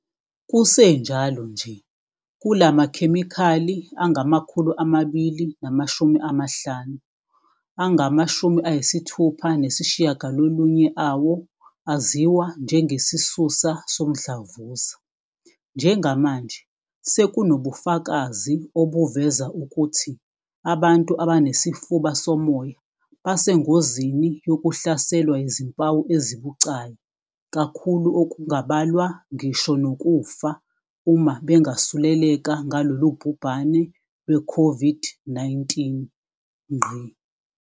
Kusenjalo nje, kulamakhemikhali angama-250, angama-69 awo aziwa njengesisusa somdlavuza. "Njengamanje, sekunobufakazi obuveza ukuthi abantu abanesifuba somoya basengozini yokuhlaselwa yizimpawu ezibucayi kakhulu okungabalwa ngisho nokufa uma bengasuleleka ngalolu bhubhane lwe-COVID-19."